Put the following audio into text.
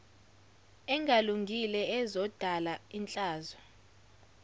engalungile ezodala ihlazo